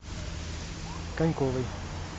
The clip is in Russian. коньковой